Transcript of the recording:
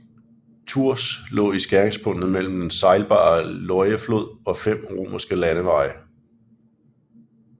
Tours lå i skæringspunktet mellem den sejlbare Loireflod og fem romerske landeveje